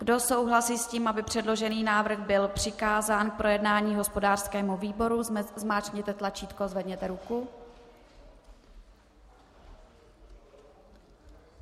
Kdo souhlasí s tím, aby předložený návrh byl přikázán k projednání hospodářskému výboru, zmáčkněte tlačítko, zvedněte ruku.